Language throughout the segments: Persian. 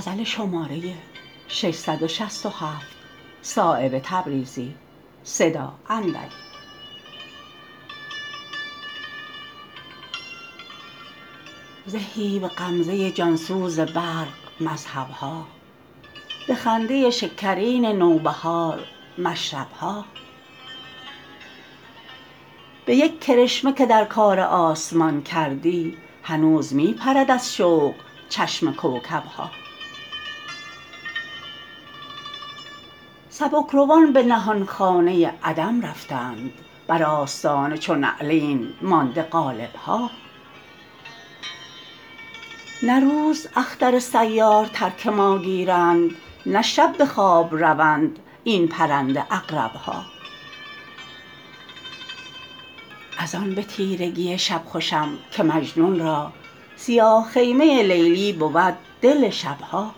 زهی به غمزه جان سوز برق مذهب ها به خنده شکرین نوبهار مشرب ها به یک کرشمه که در کار آسمان کردی هنوز می پرد از شوق چشم کوکب ها سبکروان به نهانخانه عدم رفتند بر آستانه چو نعلین مانده قالب ها نه روز اختر سیار ترک ما گیرند نه شب به خواب روند این پرنده عقرب ها ازان به تیرگی شب خوشم که مجنون را سیاه خیمه لیلی بود دل شب ها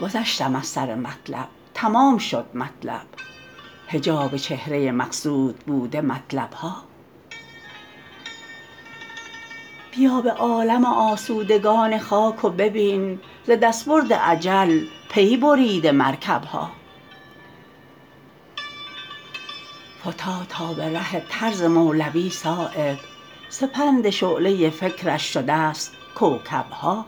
گذشتم از سر مطلب تمام شد مطلب حجاب چهره مقصود بوده مطلب ها بیا به عالم آسودگان خاک و ببین ز دستبرد اجل پی بریده مرکب ها فتاد تا به ره طرز مولوی صایب سپند شعله فکرش شده است کوکب ها